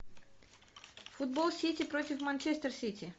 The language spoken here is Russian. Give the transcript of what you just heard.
футбол сити против манчестер сити